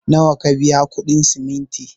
Nawa ka biya kuɗin simintin?